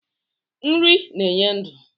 Nri na-enye ndụ.